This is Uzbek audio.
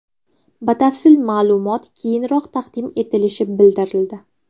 Batafsil ma’lumot keyinroq taqdim etilishi bildirildi.